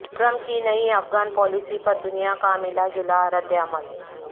Trump کی نئی Afghan policy پر دنیا کا ملا جلا ردعمل